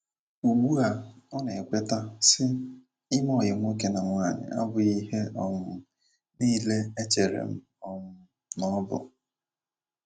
Ugbua ọ na - ekweta, sị: “ Ime ọyị nwoke na nwaanyi abughị ihe um nile echere um na ọ bụ ”